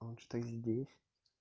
он что здесь